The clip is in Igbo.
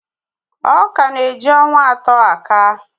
Ọ̀ka na-eji ọnwa atọ akàa